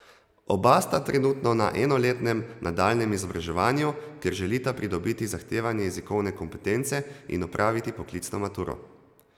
Oba sta trenutno na enoletnem nadaljnjem izobraževanju, ker želita pridobiti zahtevane jezikovne kompetence in opraviti poklicno maturo.